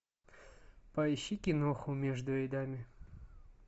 поищи киноху между рядами